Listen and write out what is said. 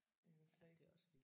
Det er jo slet ikke